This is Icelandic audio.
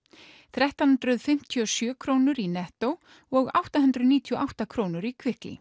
þrettán hundruð fimmtíu og sjö krónur í Netto og átta hundruð níutíu og átta krónur í